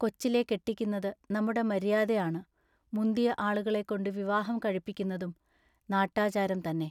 കൊച്ചിലെ കെട്ടിക്കുന്നതു നമ്മുടെ മര്യാദയാണ്. മുന്തിയ ആളുകളെക്കൊണ്ടു വിവാഹം കഴിപ്പിക്കുന്നതും നാട്ടാചാരം തന്നെ.